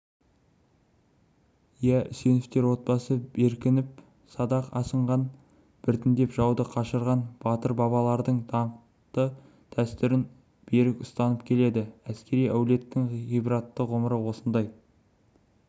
ия үсеновтер отбасы беркініп садақ асынған біріндеп жауды қашырған батыр бабалардың даңқты дәстүрін берік ұстанып келеді әскери әулеттің ғибратты ғұмыры осындай